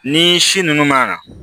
Ni si nunnu ma